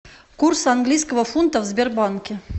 курс английского фунта в сбербанке